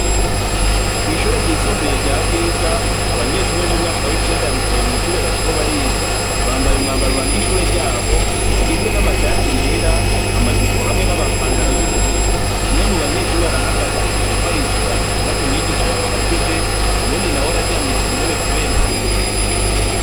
Kw'ishure ryisumbuye rya Bwiza abanyeshure b'umwaka w'icenda bicaye mw'ishure bariko bariga, bambaye umwambaro uranga ishure ryabo ugizwe n'amashati yera, amajipo hamwe n'amapantaro y'ubururu, umwe mu banyeshure arahagaze ariko arishura ikibazo mwigisha yababajije uwundi nawe araryamye ku ntebe kubera ukuruha.